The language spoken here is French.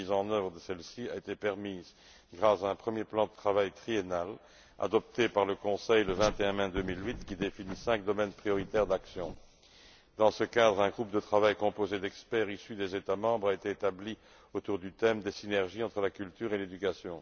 La mise en œuvre de celles ci a été permise grâce à un premier plan de travail triennal adopté par le Conseil le 21 mai 2008, qui définit cinq domaines prioritaires d'action. Dans ce cadre, un groupe de travail composé d'experts issus des États membres a été établi autour du thème des synergies entre la culture et l'éducation.